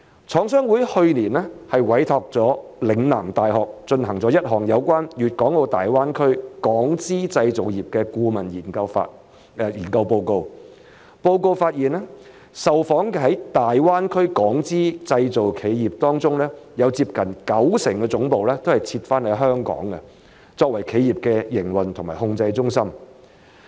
廠商會去年委託了嶺南大學進行一項有關粵港澳大灣區港資製造業的顧問研究，研究報告發現受訪的在大灣區港資製造企業當中，有接近九成的總部設於香港，作為企業的營運和控制中心。